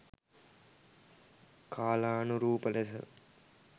කාලානුරූප ලෙස